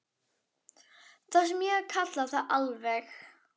Það sem ég kalla það, allavega.